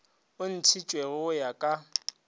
o ntšhitšwego go ya ka